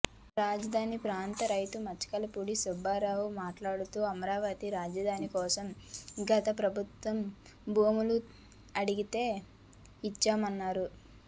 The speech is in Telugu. రాజధాని ప్రాంత రైతు మచికలపూడి సుబ్బారావు మాట్లాడుతూ అమరావతి రాజధాని కోసం గత ప్రభుత్వం భూములు అడిగితే ఇచ్చామన్నారు